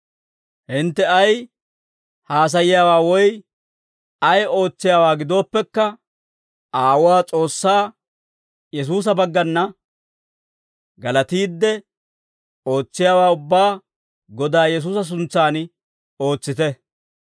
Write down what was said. Hintte ay haasayiyaawaa woy ay ootsiyaawaa gidooppekka, Aawuwaa S'oossaa Yesuusa baggana galatiidde, ootsiyaawaa ubbaa Godaa Yesuusa suntsan ootsite.